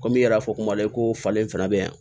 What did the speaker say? Komi i yɛrɛ y'a fɔ kuma la i ko falen fana bɛ yan